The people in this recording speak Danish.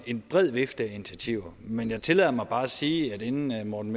en bred vifte af initiativer men jeg tillader mig bare at sige inden herre morten